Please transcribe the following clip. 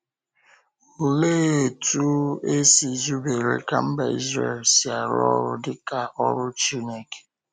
Olee otú e si zubere ka mba Izrel si arụ ọrụ dị ka “ọ́rụ” Chineke?